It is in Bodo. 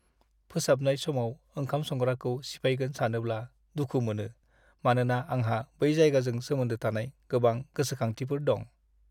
फोसाबनाय समाव ओंखाम संग्राखौ सिफायगोन सानोब्ला दुखु मोनो मानोना आंहा बै जायगाजों सोमोन्दो थानाय गोबां गोसोखांथिफोर दं।